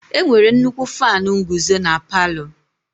Enwere nnukwu Faanu nguzo na palu.